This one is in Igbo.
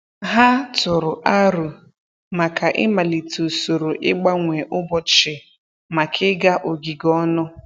Ha tụrụ aro maka ị malite usoro ịgbanwe ụbọchị maka ịga ogige ọnụ.